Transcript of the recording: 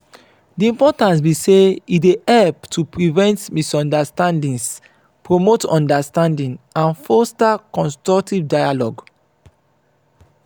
di importance be say e dey help to prevent misunderstandings promote understanding and foster constructive dialogue.